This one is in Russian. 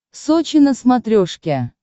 сочи на смотрешке